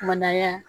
Kumana